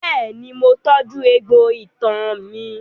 Bẹ́ẹ̀ni, mo tọ́jú egbò itan mi.